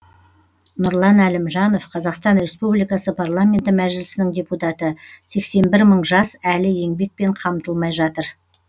нұрлан әлімжанов қазақстан республикасы парламенті мәжілісінің депутаты сексен бір мың жас әлі еңбекпен қамтылмай жатыр